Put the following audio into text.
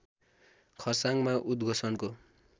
खर्साङमा उद्घोषणको